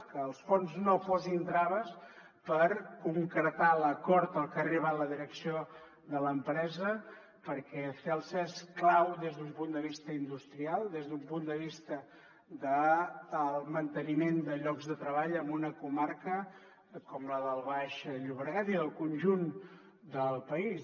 que els fons no posin traves per concretar l’acord al que ha arribat la direcció de l’empresa perquè celsa és clau des d’un punt de vista industrial des d’un punt de vista del manteniment de llocs de treball en una comarca com la del baix llobregat i del conjunt del país